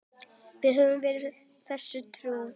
Við höfum verið þessu trú.